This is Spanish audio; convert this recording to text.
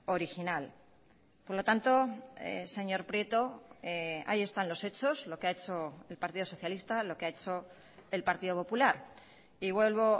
original por lo tanto señor prieto ahí están los hechos lo que ha hecho el partido socialista lo que ha hecho el partido popular y vuelvo